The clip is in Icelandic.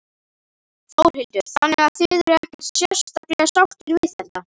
Þórhildur: Þannig að þið eruð ekkert sérstaklega sáttir við þetta?